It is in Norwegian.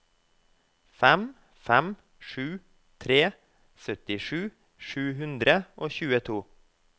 fem fem sju tre syttisju sju hundre og tjueto